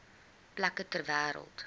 plekke ter wêreld